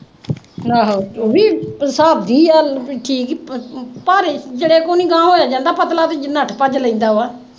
ਇਹ ਵੀ ਹਿਸਾਬ ਦੀ ਗੱਲ ਅਹ ਭਾਰੇ ਤੋਂ ਜਰਾ ਕੁ ਹੀ ਅਗਾਂਹ ਹੋਇਆ ਜਾਂਦਾ, ਪਤਲਾ ਵਿਚ ਦੀ ਨੱਠ ਭੱਜ ਲੈਂਦਾ ਵਾ।